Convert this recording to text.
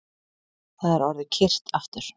Það er orðið kyrrt aftur